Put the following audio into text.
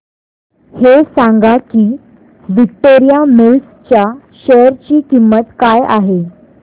हे सांगा की विक्टोरिया मिल्स च्या शेअर ची किंमत काय आहे